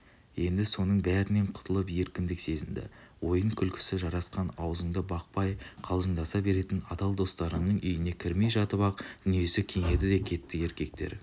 енді соның бәрінен құтылып еркіндік сезінді ойын-күлкісі жарасқан аузыңды бақпай қалжыңдаса беретін адал достарының үйіне кірмей жатып-ақ дүниесі кеңіді де кетті еркектер